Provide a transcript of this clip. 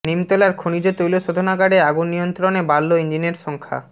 নিমতলার খনিজ তৈল শোধনাগারে আগুন নিয়ন্ত্রণে বাড়ল ইঞ্জিনের সংখ্যা